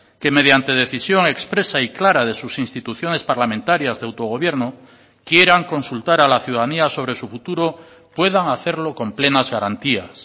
que mediante decisión expresa y clara de sus instituciones parlamentarias de autogobierno quieran consultar a la ciudadanía sobre su futuro puedan hacerlo con plenas garantías